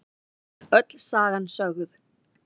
Öll sagan sögð